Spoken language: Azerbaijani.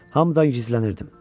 Hamıdan gizlənirdim.